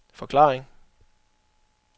forklaring